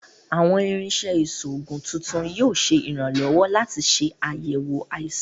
Awọn irinṣẹ iṣoogun titun yoo ṣe iranlọwọ lati ṣe ayẹwo aisan